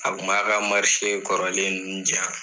A kun b'a ka kɔrɔlen nunnu di yan.